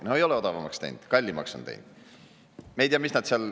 No ei ole odavamaks läinud, kallimaks on see teinud.